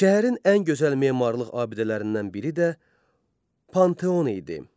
Şəhərin ən gözəl memarlıq abidələrindən biri də Panteon idi.